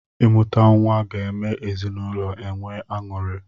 Imuta nwa ga eme ezinụlọ enwee aṅụri.